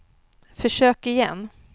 försök igen